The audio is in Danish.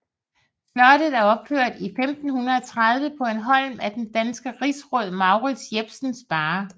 Slottet er opført i 1530 på en holm af den danske rigsråd Mourids Jepsen Sparre